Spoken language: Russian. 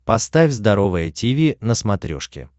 поставь здоровое тиви на смотрешке